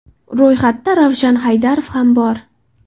Ro‘yxatda Ravshan Haydarov ham bor.